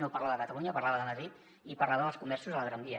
no parlava de catalunya parlava de madrid i parlava dels comerços de la gran via